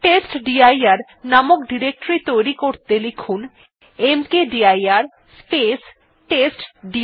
টেস্টডির নামক ডিরেক্টরী তৈরী করতে লিখুন মকদির স্পেস টেস্টডির